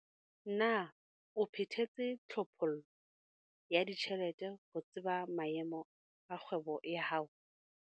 Na o phethetse tlhophollo ya ditjhelete ho tseba maemo a kgwebo ya hao?